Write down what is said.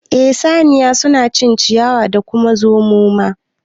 Eh saniya suna cin ciyawa da kuma zumu ma